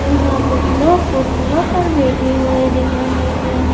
यहां कुछ लोग कुर्सियों पर बैठे हुए दिख रहे हैं।